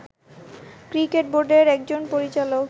cricket বোর্ডের একজন পরিচালক